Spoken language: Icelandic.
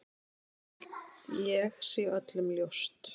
Það held ég sé öllum ljóst.